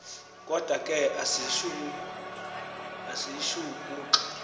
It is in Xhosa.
kodwa ke ayishukuxi